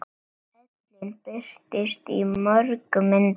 Ellin birtist í mörgum myndum.